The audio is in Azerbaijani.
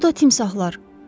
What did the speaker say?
Bu da timsahlar.